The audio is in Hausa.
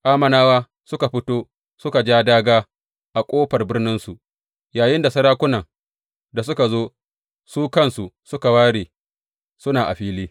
Ammonawa suka fito suka ja dāgā a ƙofar birninsu, yayinda sarakunan da suka zo, su kansu suka ware suna a fili.